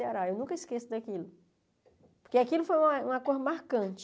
No Ceará eu nunca esqueço daquilo, porque aquilo foi uma uma coisa marcante.